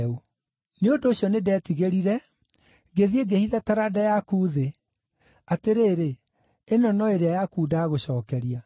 Nĩ ũndũ ũcio nĩndetigĩrire, ngĩthiĩ ngĩhitha taranda yaku thĩ. Atĩrĩrĩ, ĩno no ĩrĩa yaku ndagũcookeria.’